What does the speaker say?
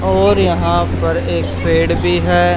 और यहां पर एक पेड़ भी है।